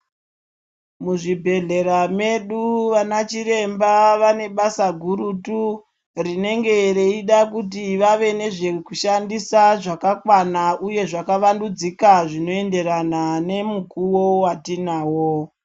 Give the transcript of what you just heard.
Muzvibhedhlera medu vana chiremba vane basa gurutu rinenge reida kuti vave nezvekushandisa zvakakwana uye zvakawandudzika zvinoenderana nemukuwo watinawo.